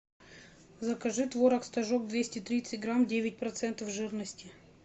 закажи творог стожок двести тридцать грамм девять процентов жирности